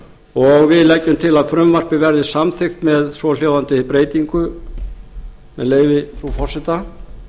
og við leggjum til að frumvarpið verði samþykkt með svohljóðandi breytingu með leyfi frú forseta